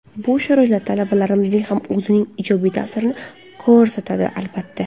Bu sharoitlar talabalarimizga ham o‘zining ijobiy ta’sirini ko‘rsatadi, albatta.